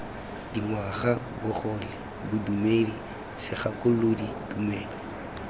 dingwaga bogole bodumedi segakolodi tumelo